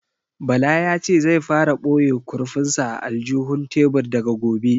Bala ya ce zai fara ɓoye kurfin sa a aljihun tebur daga gobe